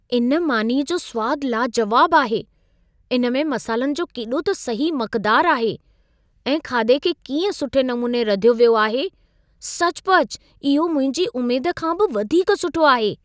इन मानीअ जो सुवाद लाजुवाबु आहे। इन में मसालनि जो केॾो त सही मक़दार आहे ऐं खाधे खे कीअं सुठे नमूने रधियो वियो आहे। सचुपचु इहो मुंहिंजी उमेद खां बि वधीक सुठो आहे।